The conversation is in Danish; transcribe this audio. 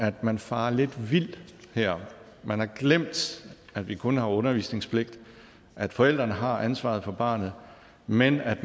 at man farer lidt vild her man har glemt at vi kun har undervisningspligt at forældrene har ansvaret for barnet men at